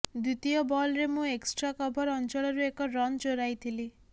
ଦ୍ବିତୀୟ ବଲରେ ମୁଁ ଏକ୍ସଟ୍ରା କଭର ଅଞ୍ଚଳରୁ ଏକ ରନ୍ ଚୋରାଇଥିଲି